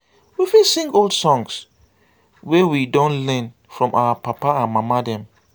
we fit sing old songs wey we don learn from our papa and mama dem